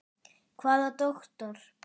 Hvaða doktor?